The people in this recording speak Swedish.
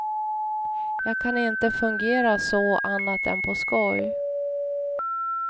Jag kan inte fungera så annat än på skoj.